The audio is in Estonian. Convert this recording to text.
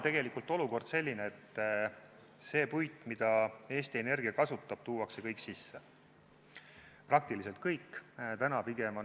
Täna on olukord selline, et see puit, mida Eesti Energia kasutab, tuuakse kõik sisse, praktiliselt kõik.